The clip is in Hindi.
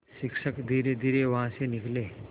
शिक्षक धीरेधीरे वहाँ से निकले